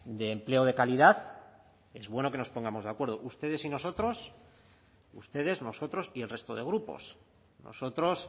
de empleo de calidad es bueno que nos pongamos de acuerdo ustedes y nosotros ustedes nosotros y el resto de grupos nosotros